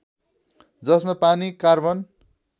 जसमा पानी कार्बन